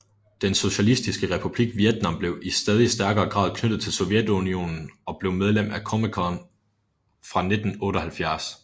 Den socialistiske republik Vietnam blev i stadig stærkere grad knyttet til Sovjetunionen og blev medlem af COMECON fra 1978